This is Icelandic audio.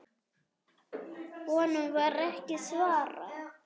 Honum var ekki svarað.